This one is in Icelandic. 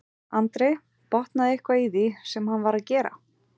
Andri: Botnaðirðu eitthvað í því sem hann var að gera?